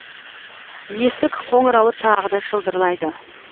есік қоңырауы тағы да шылдырлайды